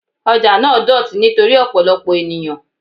Ọjà náà dọ̀tí nítorí ọ̀pọ̀lọpọ̀ ènìyàn.